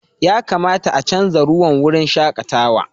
Ya kamata a chanza ruwan wurin shakatawa.